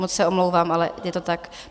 Moc se omlouvám, ale je to tak.